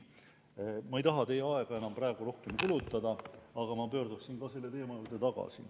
Ma ei taha teie aega enam praegu rohkem kulutada, aga ma pöördun ka selle teema juurde tagasi.